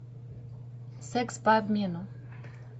секс по обмену